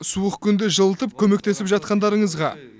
суық күнде жылытып көмектесіп жатқандарыңызға